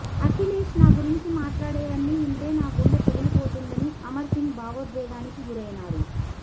అఖిలేష్ నాగురించి మాట్లాడేవన్నీ వింటే నా గుండె పగిలిపోతుందని అమర్ సింగ్ భావోద్వేగానికి గురైనారు